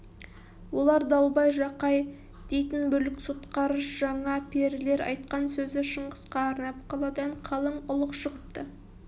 олар далбай жақай дейтін бүлік сотқар жаңа перілер айтқан сөзі шыңғысқа арнап қаладан қалың ұлық шығыпты